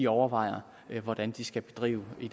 overvejer hvordan de skal bedrive i